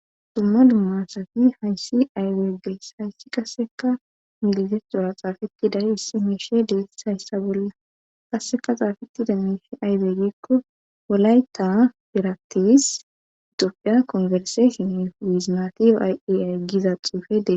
dumma dumasati hayssi ayweeges hayssi qasseka migizet dura xaafeti dari hissi meishe deeshayssa bolla qasseka xaafetide miishi aywe gikko wolayta pirattis itoopiya konferseshoni wiizimatiyo ayeyay giza xuufedee